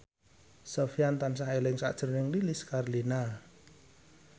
Sofyan tansah eling sakjroning Lilis Karlina